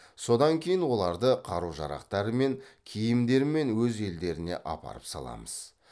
содан кейін оларды қару жарақтарымен киімдерімен өз елдеріне апарып саламыз